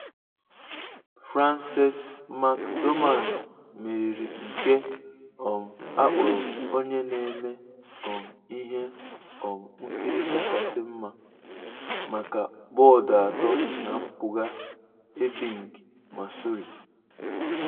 Frances McDormand meriri nke um akpọrọ 'Onye na-eme um ihe um nkiri kachasị mma' maka bọọdụ atọ na mpụga Ebbing, Missouri.